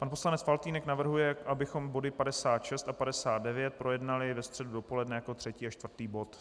Pan poslanec Faltýnek navrhuje, abychom body 56 a 59 projednali ve středu dopoledne jako třetí a čtvrtý bod.